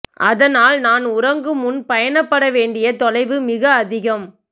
அதனால் நான் உறங்குமுன் பயணப்பட வேண்டிய தொலைவு மிக அதிகம்